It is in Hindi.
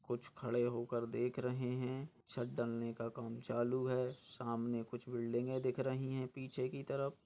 कुछ खड़े होकर देख रहे है छत डलने का काम चालू है सामने कुछ बिल्डिंगे दिख रही है पीछे की तरफ।